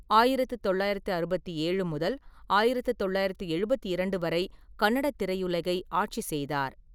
ஆயிரத்து தொள்ளாயிரத்து அறுபத்தேழு முதல் ஆயிரத்து தொள்ளாயிரத்து எழுபத்திரண்டு வரை கன்னட திரையுலகை ஆட்சி செய்தார்.